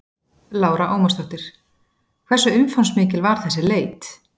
Lára Ómarsdóttir: Hversu umfangsmikil var þessi leit?